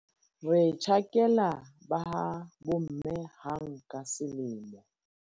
re tjhakela ba ha bomme hang ka selemo